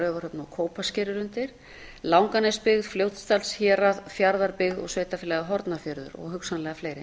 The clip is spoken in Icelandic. raufarhöfn og kópasker eru undir langanesbyggð fljótsdalshérað fjarðabyggð og sveitarfélagið hornafjörður og hugsanlega fleiri